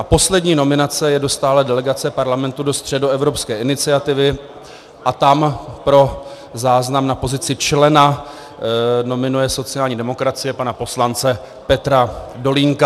A poslední nominace je do stálé delegace Parlamentu do Středoevropské iniciativy a tam pro záznam na pozici člena nominuje sociální demokracie pana poslance Petra Dolínka.